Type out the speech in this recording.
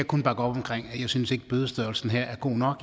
kun bakke op om jeg synes ikke at bødestørrelsen her er god nok og